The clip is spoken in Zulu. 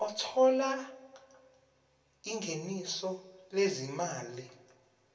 othola ingeniso lezimali